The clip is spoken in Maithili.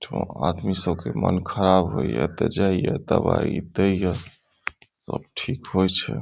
एठमा आदमी सब के मन ख़राब होय या ते जाय या दवाई देय या सब ठीक होय छै ।